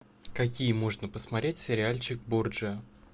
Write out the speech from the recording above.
какие можно посмотреть сериальчик борджиа